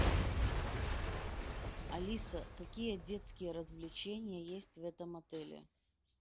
алиса какие детские развлечения есть в этом отеле